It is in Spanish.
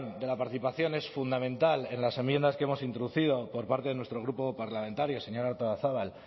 de la participación es fundamental en las enmiendas que hemos introducido por parte de nuestro grupo parlamentario señora artolazabal